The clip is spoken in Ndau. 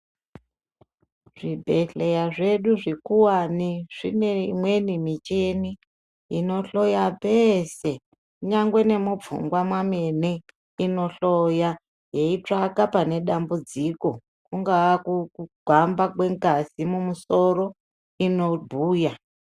Zvibhedhleya zvedu zvikuwani zvine imweni michini inohloya peese. Nyangwe nemupfungwa mwamene inohloya, yeitsvaka pane dambudziko. Kungaa kugwamba kwengazi mumusoro, inobhuya.